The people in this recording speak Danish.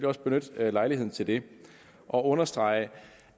også benytte lejligheden til det og understrege